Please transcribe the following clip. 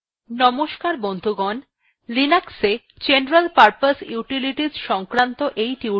নমস্কার বন্ধুগণ linux general purpose utilities সংক্রান্ত এই টিউটোরিয়ালটিতে আমি আপনাদের স্বাগত জানাচ্ছি